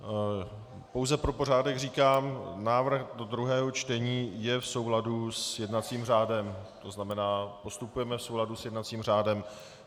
Pouze pro pořádek říkám, návrh do druhého čtení je v souladu s jednacím řádem, to znamená, postupujeme v souladu s jednacím řádem.